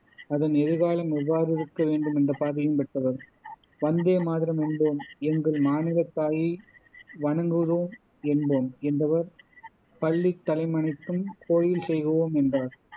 அதன் எதிர்காலம் எவ்வாறிருக்க வேண்டும் என்ற பார்வையும் பெற்றவர் வந்தேமாதரம் என்போம் எங்கள் மாநிலத் தாயை வணங்குதும் என்போம் என்றவர் பள்ளித்தலமனைத்தும் கோயில் செய்குவோம் என்றார்